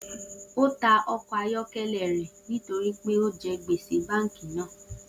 O ta ọkọ ayọkẹlẹ rẹ nitori pe o jẹ gbese banki naa